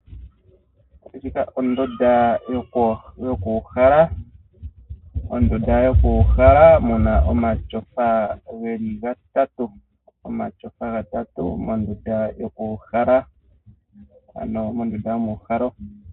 Ndjika ondunda yoku uhala. Ondunda yoku uhala muna omatsofa geli gatatu. Omatsofa geli gatatu mondunda yoku uhala ano mondunda yomuuhalo.